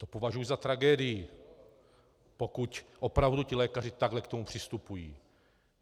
To považuju za tragédii, pokud opravdu ti lékaři takhle k tomu přistupují.